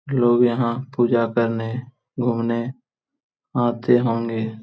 लोग यहां पूजा करने घूमने आते होंगे।